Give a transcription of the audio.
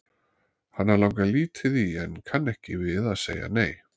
Hana langar lítið í en kann ekki við að segja nei.